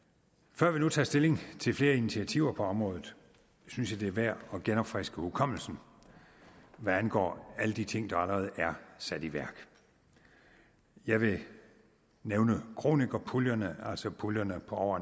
før vi nu tager stilling til flere initiativer på området synes jeg det er værd at genopfriske hukommelsen hvad angår alle de ting der allerede er sat i værk jeg vil nævne kronikerpuljerne altså puljerne på over